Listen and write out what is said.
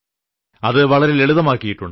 അത് വളരെ ലളിതമാക്കിയിട്ടുണ്ട്